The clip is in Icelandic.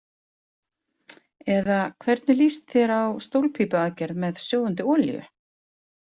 Eða hvernig líst þér á stólpípuaðgerð með sjóðandi olíu?